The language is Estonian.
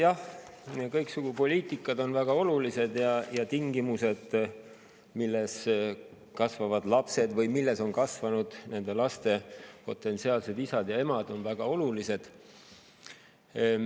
Jah, kõiksugu poliitikasuunad on väga olulised, ning tingimused, milles kasvavad lapsed või milles on kasvanud nende laste potentsiaalsed isad ja emad, on väga olulised.